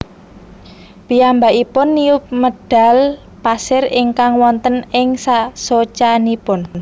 Piyambakipun niup medhal pasir ingkang wonten ing socanipun